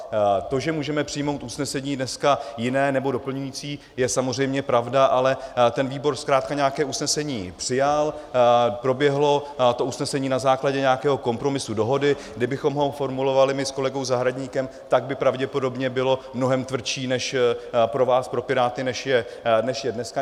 To, že můžeme přijmout usnesení dneska jiné nebo doplňující, je samozřejmě pravda, ale ten výbor zkrátka nějaké usnesení přijal, proběhlo to usnesení na základě nějakého kompromisu dohody, kdybychom ho formulovali my s kolegou Zahradníkem, tak by pravděpodobně bylo mnohem tvrdší než pro vás pro Piráty, než je dneska.